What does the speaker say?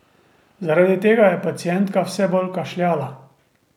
Zaradi tega je pacientka vse bolj kašljala.